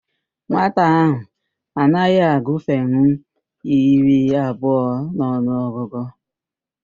Nwata ahụ anaghị agụfenwu iri abụọ n'ọnụ ọgụgụ